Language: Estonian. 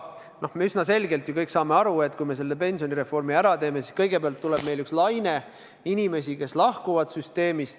Üsna selgelt me ju kõik saame aru, et kui me selle pensionireformi ära teeme, siis kõigepealt tekib üks laine inimesi, kes lahkuvad süsteemist.